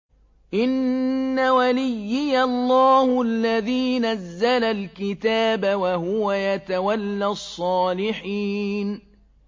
إِنَّ وَلِيِّيَ اللَّهُ الَّذِي نَزَّلَ الْكِتَابَ ۖ وَهُوَ يَتَوَلَّى الصَّالِحِينَ